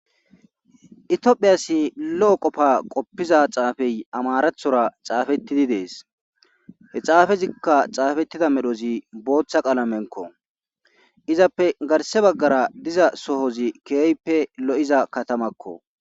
itihphiyasi lo7o qofa qoppiza xaafey amarathora xaafettidi dees he xaafezikka xaafettida medhozi booththa qaalamenko izappe garse baggara diza sohozi keeyppe lo7iza katamakko